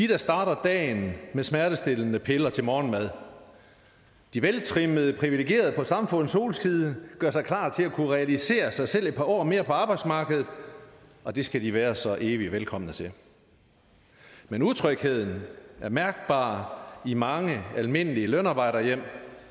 der starter dagen med smertestillende piller til morgenmad de veltrimmede privilegerede på samfundets solside gør sig klar til at kunne realisere sig selv et par år mere på arbejdsmarkedet og det skal de være så evig velkomne til men utrygheden er mærkbar i mange almindelige lønarbejderhjem